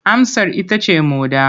Amsar ita ce moɗa.